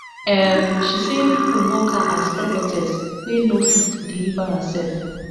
um she say pipo mock her as prophetess wey no fit deliver hersef